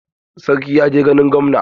Sarki ya je ganin gwamna.